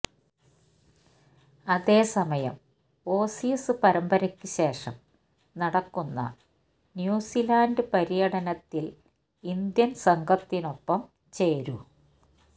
അതേ സമയം ഓസീസ് പരമ്പരയ്ക്ക് ശേഷംനടക്കുന്ന ന്യൂസിലൻഡ് പര്യടനത്തിലേ ഗിൽ ഇന്ത്യൻസംഘത്തിനൊപ്പം ചേരൂ